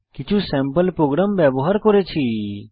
কিছু sample program ব্যবহার করেছি